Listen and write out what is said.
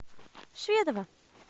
шведова